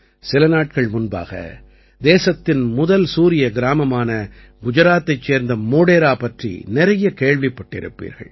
சில நாட்கள் முன்பாக தேசத்தின் முதல் சூரிய கிராமமான குஜராத்தைச் சேர்ந்த மோடேரா பற்றி நிறைய கேள்விப்பட்டிருப்பீர்கள்